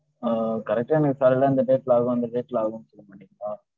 அஹ் correct ஆ எனக்கு காலையில அந்த date ல ஆகு இந்த date ல ஆகு சொல்ல மாட்டீங்களா?